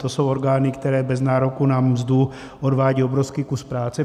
To jsou orgány, které bez nároku na mzdu odvádějí obrovský kus práce.